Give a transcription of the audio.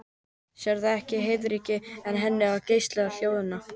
Sérðu ekki heiðríkjuna í henni og geislandi hlýjuna?